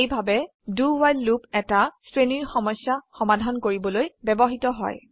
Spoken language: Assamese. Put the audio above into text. এইভাবে do ৱ্হাইল লুপ এটা শ্ৰেণীৰ সমস্যা সমাধান কৰিবলৈ ব্যবহৃত হয়